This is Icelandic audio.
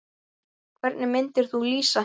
Hvernig myndir þú lýsa henni?